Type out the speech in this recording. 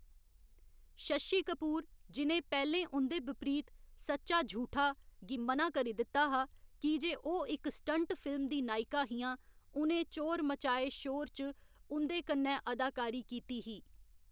शशि कपूर, जि'नें पैह्‌लें उं'दे बिपरीत सच्चा झूठा गी म'ना करी दित्ता हा की जे ओह्‌‌ इक स्टंट फिल्म दी नायिका हियां, उ'नें चोर मचाए शोर च उं'दे कन्नै अदाकारी कीती ही।